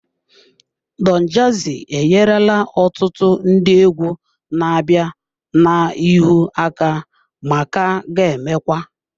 Don jazzy enyerela ọtụtụ ndị egwu na-abịa n'ihu aka ma ka ga-emekwa.